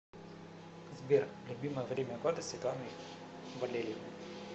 сбер любимое время года светланы валерьевны